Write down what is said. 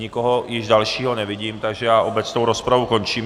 Nikoho již dalšího nevidím, takže já obecnou rozpravu končím.